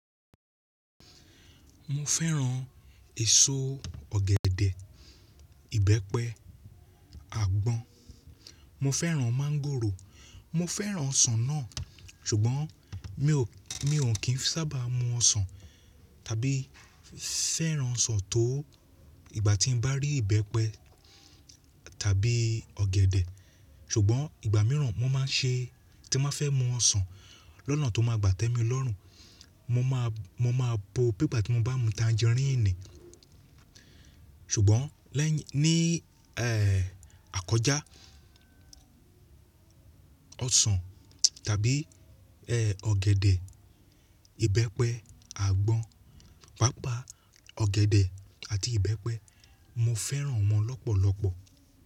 Mo fẹ́ran èso ọ̀gẹ̀dẹ̀, ìbẹ́pẹ, àgbọn. Mo fẹ́ran máńgòrò. Mo fẹ́ran ọsàn náà sùgbọ́n mi ò, mi ò kín sábà mu ọsàn tàbí fẹ́ran ọsàn tó ìgbà tí n bá rí ìbẹ́pẹ tàbí ọ̀gẹ̀dẹ̀. Ṣùgbọ́n ìgbà mìíràn mo máa ń ṣe tí mo fẹ́ mu ọsàn lọ́nà tó máa gbà tẹ́mi lọ́rùn. Mo máa, mo máa bo bí ìgbà tí mo bá mu tanjeríìnì. Ṣùgbọ́n lẹ́yìn, ní eh akọjá ọsàn tàbí eh ọ̀gẹ̀dẹ̀, ìbẹ́pẹ, àgbọn, pàápàá ọ̀gẹ̀dẹ̀ àti ìbẹ́pẹ mo fẹ́ran wọn lọ́pọ̀lọpọ̀.